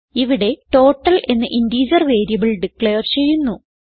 ഇവിടെ ടോട്ടൽ എന്ന integer variable declare ചെയ്യുന്നു